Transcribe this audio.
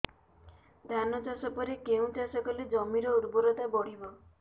ଧାନ ଚାଷ ପରେ କେଉଁ ଚାଷ କଲେ ଜମିର ଉର୍ବରତା ବଢିବ